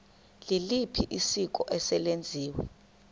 liliphi isiko eselenziwe